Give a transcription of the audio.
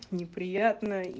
неприятно и